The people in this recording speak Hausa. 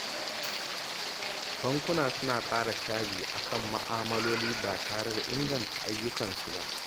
Bankuna suna ƙara caji akan ma’amaloli ba tare da inganta ayyukansu ba.